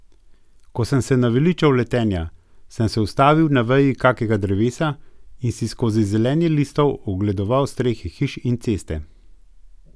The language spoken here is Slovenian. Ko sem se naveličal letenja, sem se ustavil na veji kakega drevesa in si skozi zelenje listov ogledoval strehe hiš in ceste.